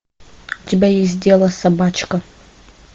у тебя есть дело собачка